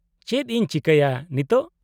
-ᱪᱮᱫ ᱤᱧ ᱪᱤᱠᱟᱹᱭᱟ ᱱᱤᱛᱳᱜ ?